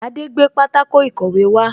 Adé gbé pátákó ìkọ̀wé wá